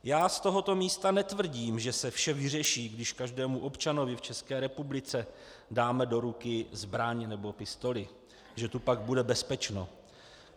Já z tohoto místa netvrdím, že se vše vyřeší, když každému občanovi v České republice dáme do ruky zbraň nebo pistoli, že tu pak bude bezpečno.